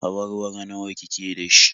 Awarwaro nawa ki ke da shi?